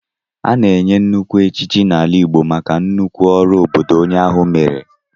A na-enye nnukwu echichi n'ala Igbo maka nnukwu ọrụ obodo onye ahụ meere.